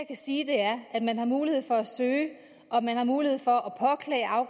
kan sige er at man har mulighed for at søge og man har mulighed for